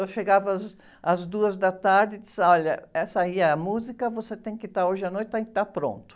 Eu chegava às, às duas da tarde e diziam, olha, essa aí é a música, você tem que estar hoje à noite tem que estar pronto.